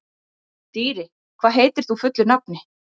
Dýri, hvað heitir þú fullu nafni?